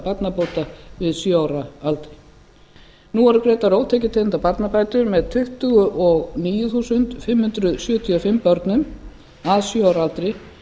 barnabóta við sjö ára aldur nú eru greiddar ótekjutengdar barnabætur með tuttugu og níu þúsund fimm hundruð sjötíu og fimm börnum að sjö ára aldri